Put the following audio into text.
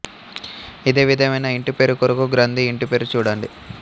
ఇదే విధమైన ఇంటిపేరు కొరకు గ్రంధి ఇంటి పేరు చూడండి